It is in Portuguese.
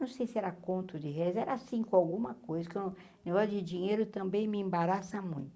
Não sei se era conto de réis, era cinco alguma coisa, que negócio de dinheiro também me embaraça muito.